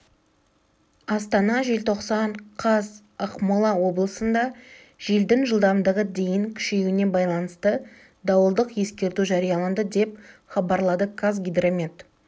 астана желтоқсан қаз ақмола облысында желдің жылдамдығы дейін күшеюіне байланысты дауылдық ескерту жарияланды деп хабарлады қазгидромет